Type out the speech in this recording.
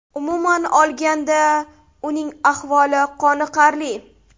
Umuman olganda, uning ahvoli qoniqarli.